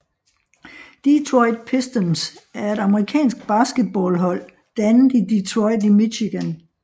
Detroit Pistons er et amerikansk basketballhold dannet i Detroit i Michigan